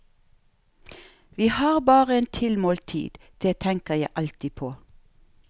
Vi har bare en tilmålt tid, det tenker jeg alltid på.